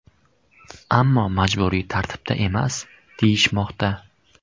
Ammo majburiy tartibda emas deyishmoqda.